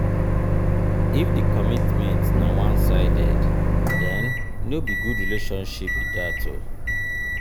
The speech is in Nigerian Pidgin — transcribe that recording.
if di commitment na one sided then no be good relationship be that